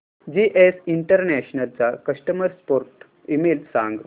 GS international चा customer support email सांग